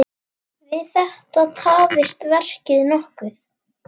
Við þetta tafðist verkið nokkuð.